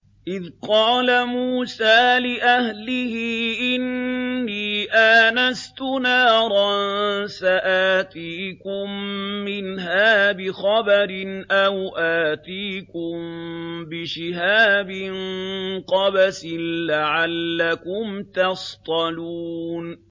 إِذْ قَالَ مُوسَىٰ لِأَهْلِهِ إِنِّي آنَسْتُ نَارًا سَآتِيكُم مِّنْهَا بِخَبَرٍ أَوْ آتِيكُم بِشِهَابٍ قَبَسٍ لَّعَلَّكُمْ تَصْطَلُونَ